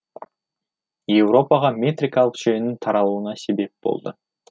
еуропаға метрикалық жүйенің таралуына себеп болды